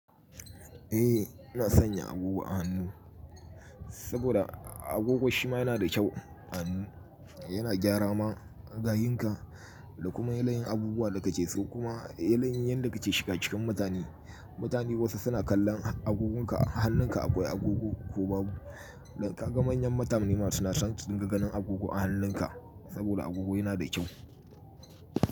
Eh, ina sanya agogo a hannu saboda agogo shima yana da kyau a hannu. Yana gyara ma gayunka da kuma yanayin abubuwa da kake so kuma yanayin yanda kake shiga cikin mutane. Mutane wasu suna kallon agogonka a hannunka akwai agogo ko babu. Da ka ga manyan mutane ma suna son su ringa agogo a hannunka saboda agogo yana da kyau.